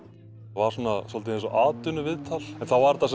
var svolítið eins og atvinnuviðtal en þá var þetta